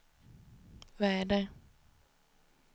väder